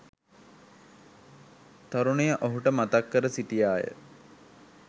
තරුණිය ඔහුට මතක් කර සිටියා ය.